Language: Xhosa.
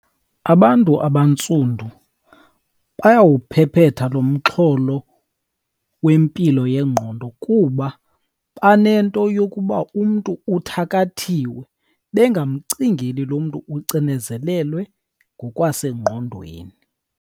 Abantu abantsundu bayawuphephetha lo mxholo wempilo yengqondo kuba banento yokuba umntu uthakathiwe, bengamcingeli lo mntu ucinezelelwe ngokwasengqondweni.